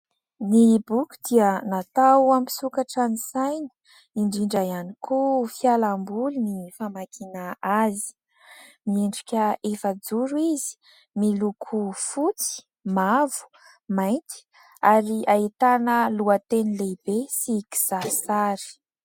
Ny boky dia natao hampisokatra ny saina, indrindra ihany koa fialamboly ny famakiana azy, miendrika efajoro izy, miloko fotsy, mavo, mainty ary ahitana lohateny lehibe sy kisarisary.